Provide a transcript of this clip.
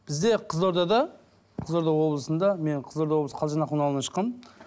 бізде қызылордада қызылорда облысында мен қызылорда облысы ауылынан шыққанмын